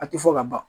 A tɛ fɔ ka ban